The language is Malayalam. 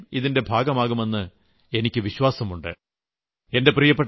നിങ്ങൾ തീർച്ചയായും ഇതിന്റെ ഭാഗമാകുമെന്ന് എനിയ്ക്ക് വിശ്വാസമുണ്ട്